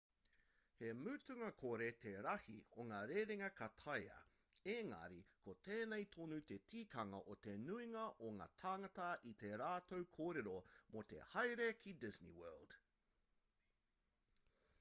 he mutunga kore te rahi o ngā rerenga ka taea ēngari ko tēnei tonu te tikanga o te nuinga o ngā tāngata i tā rātou kōrero mō te haere ki disney world